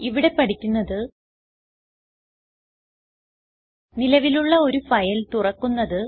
ഇവിടെ പഠിക്കുന്നത് നിലവിലുള്ള ഒരു ഫയൽ തുറക്കുന്നത്